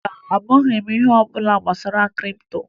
Mba, amaghị m ihe ọbụla gbasara kripto